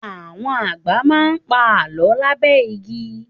Àwọn àgbà má ń pa Àlọ́ lábẹ́ igi